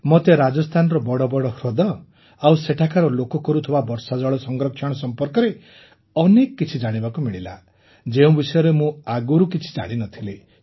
ମୋତେ ରାଜସ୍ଥାନର ବଡ଼ ବଡ଼ ହ୍ରଦ ଆଉ ସେଠାକାର ଲୋକେ କରୁଥିବା ବର୍ଷାଜଳ ସଂରକ୍ଷଣ ସମ୍ପର୍କରେ ଅନେକ କିଛି ଜାଣିବାକୁ ମିଳିଲା ଯେଉଁ ବିଷୟରେ ମୁଁ ଆଗରୁ କିଛି ଜାଣିନଥିଲି